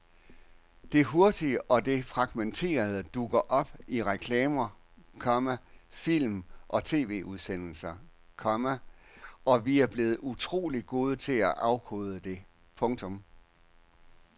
Det hurtige og det fragmenterede dukker op i reklamer, komma film og TVudsendelser, komma og vi er blevet utroligt gode til at afkode det. punktum